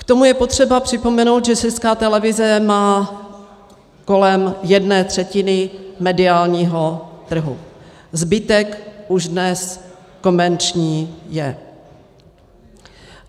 K tomu je potřeba připomenout, že Česká televize má kolem jedné třetiny mediálního trhu, zbytek už dnes komerční je.